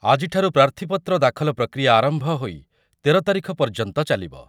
ଆଜିଠାରୁ ପ୍ରାର୍ଥୀପତ୍ର ଦାଖଲ ପ୍ରକ୍ରିୟା ଆରମ୍ଭ ହୋଇ ତେର ତାରିଖ ପର୍ଯ୍ୟନ୍ତ ଚାଲିବ ।